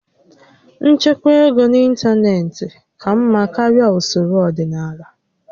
Nchekwa ego n'ịntanetị ka mma karịa usoro ọdịnala